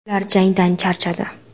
Ular jangdan charchadi.